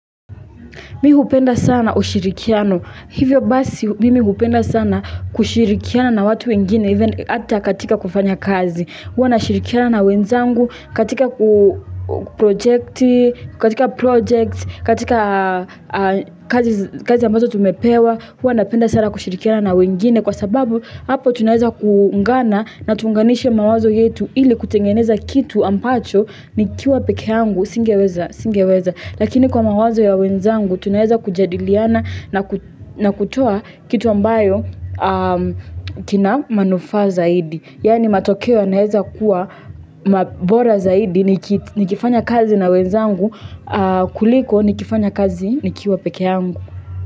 Mi hupenda sana ushirikiano. Hivyo basi mimi hupenda sana kushirikiana na watu wengine hata katika kufanya kazi. Huwa na shirikiana na wenzangu katika project, katika kazi ambazo tumepewa. Huwa napenda sana kushirikiana na wengine kwa sababu hapo tunaweza kuungana na tuunganishe mawazo yetu ili kutengeneza kitu ambacho nikiwa peke yangu singeweza. Lakini kwa mawazo ya wenzangu, tunaweza kujadiliana na kutua kitu ambayo kina manufaa zaidi. Yaani matokeo yanaweza kuwa bora zaidi nikifanya kazi na wenzangu kuliko nikifanya kazi nikiwa peke yangu.